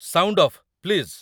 sound off, please